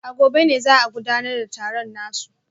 A gobe ne za a gudanar da taron nasu